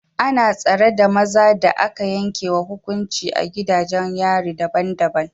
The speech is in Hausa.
Ana tsare da maza da aka yanke wa hukuncin a gidajen yari daban-daban